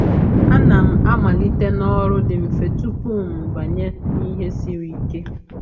A na'm amalite na ọrụ dị mfe tupu m banye n’ihe siri ike.